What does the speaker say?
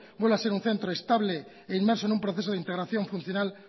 vuelva a ser un centro estable e inmerso en un proceso de integración funcional